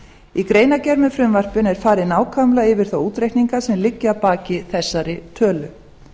í greinargerð með frumvarpinu er farið nákvæmlega yfir þá útreikninga sem liggja að baki þessari tölu